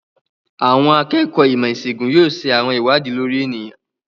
Àwọn akẹ́kọ̀ọ́ ìmọ̀-ìṣègùn yóò ṣe àwọn ìwádìí lórí ènìyàn.